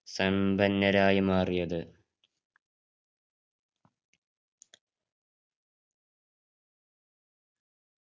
സമ്പന്നരായി മാറിയത്